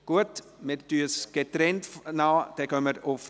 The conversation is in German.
Gut, dann beraten wir getrennt.